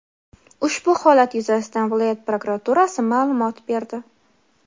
Ushbu holat yuzasidan viloyat prokuraturasi ma’lumot berdi.